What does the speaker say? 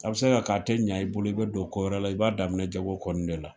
A bi se ka kɛ a te ɲa i bolo, i be se ka don ko wɛrɛ la i b'a daminɛ jago kɔni de la.